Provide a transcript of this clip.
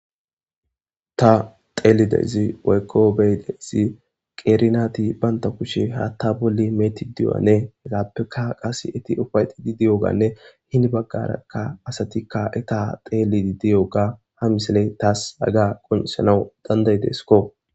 Ta xeelidezi waykko beydezi qeerinati baynta kushe ha ta bolli meeti di7o7ane hegappeka qase eti ufayxi di di7oganne hini baggarakka asatikka e ta teelii diyoga ha misale taas aga qonisanawu danday desko.